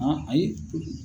ayi.